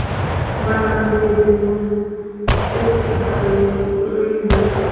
vhalambedzi na sekitha ya phuraivete